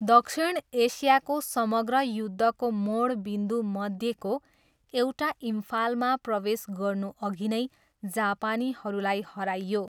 दक्षिण एसियाको समग्र युद्धको मोड बिन्दु मध्येको एउटा इम्फालमा प्रवेश गर्नुअघि नै जापानीहरूलाई हराइयो।